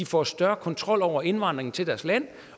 får større kontrol over indvandringen til deres land